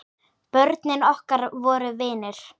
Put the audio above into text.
Börnin okkar voru vinir.